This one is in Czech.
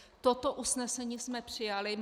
Toto usnesení jsme přijali.